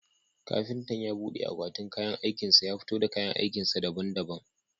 Kafintan ya bude akwatin kayan aikin sa ya fito da kayan aikin sa daban daban